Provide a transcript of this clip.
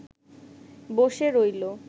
বসে রইল